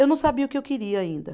Eu não sabia o que eu queria ainda.